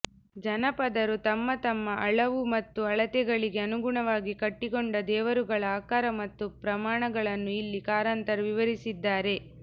ಜನಪದರು ತಮ್ಮ ತಮ್ಮ ಅಳವು ಮತ್ತು ಅಳತೆಗಳಿಗೆ ಅನುಗುಣವಾಗಿ ಕಟ್ಟಿಕೊಂಡ ದೇವರುಗಳ ಆಕಾರ ಮತ್ತು ಪ್ರಮಾಣಗಳನ್ನು ಇಲ್ಲಿ ಕಾರಂತರು ವಿವರಿಸಿದ್ದಾರೆ